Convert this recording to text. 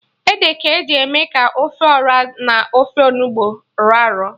Ede ka eji eme ka ofe Ọra n'ofe Onugbu rọ arọ